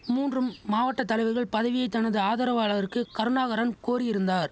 மூன்றும் மாவட்ட தலைவர்கள் பதவியை தனது ஆதரவாளர்க்கு கருணாகரன் கோரியிருந்தார்